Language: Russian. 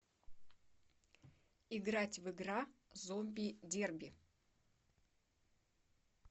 играть в игра зомби дерби